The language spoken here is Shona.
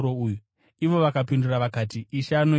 Ivo vakamupindura vakati, “Ishe anoida.”